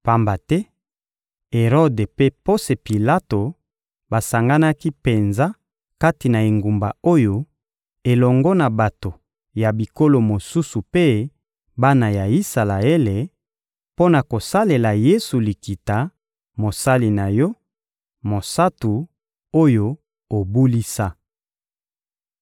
Pamba te, Erode mpe Ponse Pilato basanganaki penza kati na engumba oyo, elongo na bato ya bikolo mosusu mpe bana ya Isalaele, mpo na kosalela Yesu likita, Mosali na Yo, Mosantu, oyo obulisa.